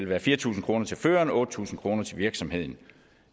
være fire tusind kroner til føreren og otte tusind kroner til virksomheden